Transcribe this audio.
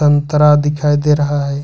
संतरा दिखाई दे रहा है।